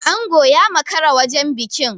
Ango ya makara wajen bikin.